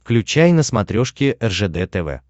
включай на смотрешке ржд тв